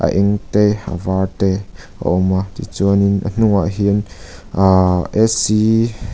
eng te var te a awm a tichuanin a hnungah hian aahh --